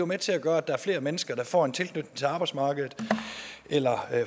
med til at gøre at der er flere mennesker der får en tilknytning til arbejdsmarkedet eller